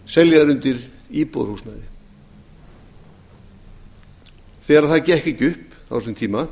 keyptar undir íbúðarhúsnæði þegar það gekk ekki upp á þessum tíma